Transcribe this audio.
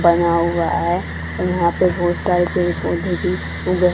बना हुआ है और यहां पे बहुत सारे पेड़ पौधे भी उगे--